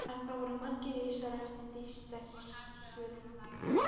Þarna voru margir risar og eftir því sverir og sterkir.